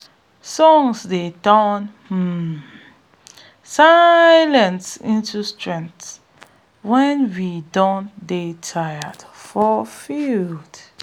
songs dey turn um silence into strength wen we don dey tire for field um